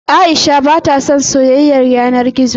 Aisha ba ta son soyayar yana gizo.